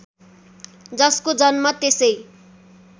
जसको जन्म त्यसै